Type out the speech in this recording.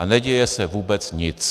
A neděje se vůbec nic.